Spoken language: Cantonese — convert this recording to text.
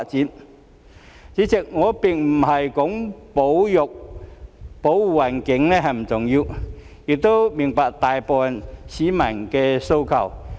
代理主席，我並不是說保護環境不重要，亦明白大部分市民的訴求。